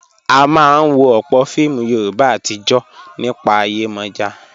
A máa ń wo ọ̀pọ̀ fíìmù Yorùbá àtijọ́ nípa Yemoja.